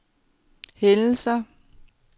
hændelser